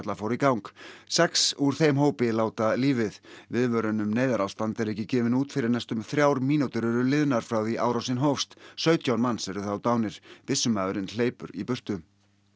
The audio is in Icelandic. fór í gang sex úr þeim hópi láta lífið viðvörun um neyðarástand er ekki gefin út fyrr en næstum þrjár mínútur eru liðnar frá því að árásin hófst sautján manns eru þá dánir byssumaðurinn hleypur í burtu